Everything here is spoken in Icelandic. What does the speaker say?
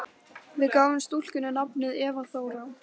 Við gáfum stúlkunni nafnið Eva Þóra.